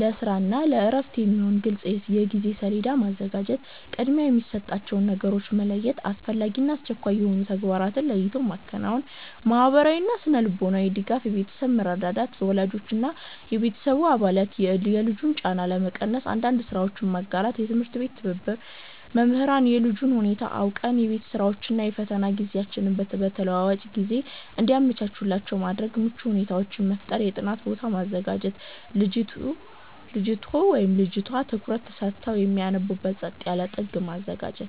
ለስራ እና ለእረፍት የሚሆን ግልጽ የጊዜ ሰሌዳ ማዘጋጀት። ቅድሚያ የሚሰጣቸውን ነገሮች መለየት፦ አስፈላጊና አስቸኳይ የሆኑ ተግባራትን ለይቶ ማከናወን። ማህበራዊና ስነ-ልቦናዊ ድጋፍ የቤተሰብ መረዳዳት፦ ወላጆች ወይም የቤተሰብ አባላት የልጁን ጫና ለመቀነስ አንዳንድ ስራዎችን መጋራት። የትምህርት ቤት ትብብር፦ መምህራን የልጁን ሁኔታ አውቀው የቤት ስራዎችን እና የፈተና ጊዜዎችን በተለዋዋጭ ሁኔታ እንዲያመቻቹላቸው ማድረግ። ምቹ ሁኔታዎችን መፍጠር የጥናት ቦታ ማዘጋጀት፦ ልጅቱ/ቷ ትኩረት ሰጥተው የሚያጠኑበት ጸጥ ያለ ጥግ ማዘጋጀት።